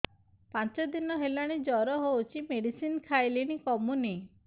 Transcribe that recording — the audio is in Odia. ପାଞ୍ଚ ଦିନ ହେଲାଣି ଜର ହଉଚି ମେଡିସିନ ଖାଇଲିଣି କମୁନି